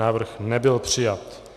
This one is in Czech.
Návrh nebyl přijat.